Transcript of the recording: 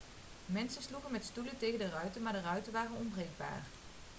mensen sloegen met stoelen tegen de ruiten maar de ruiten waren onbreekbaar